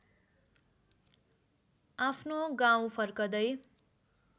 आफ्नो गाउँ फर्कदै